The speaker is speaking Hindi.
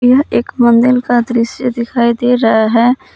यह एक मंदिल का दृश्य दिखाई दे रहा है।